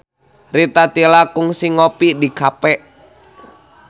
Rita Tila kungsi ngopi di cafe